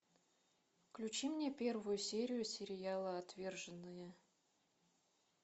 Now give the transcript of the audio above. включи мне первую серию сериала отверженные